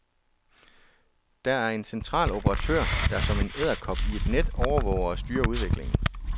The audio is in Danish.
Der er en central operatør, der som en edderkop i et net overvåger og styrer udviklingen.